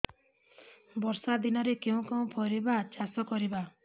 ବର୍ଷା ଦିନରେ କେଉଁ କେଉଁ ପରିବା ଚାଷ କରିବା